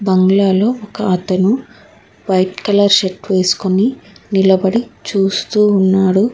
బంగ్లాలో ఒకతను white colour shirt వేసుకొని నిలబడి చూస్తూ ఉన్నాడు.